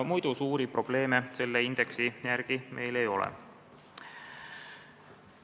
Muidu meil suuri probleeme selle indeksi järgi ei ole.